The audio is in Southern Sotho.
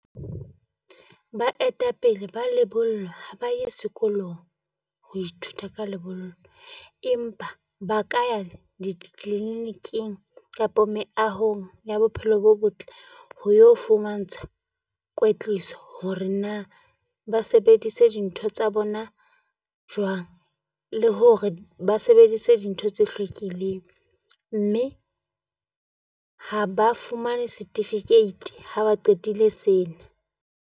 Baetapele ba lebollo ha ba ye sekolong ho ithuta ka lebollo, empa ba ka di-clinic-ing kapa meahong ya bophelo bo botle. Ho yo fumantshwa kwetliso hore na ba sebedise dintho tsa bona jwang le hore ba sebedise dintho tse hlwekileng, mme ha ba fumane certificatebha ba qetile sena.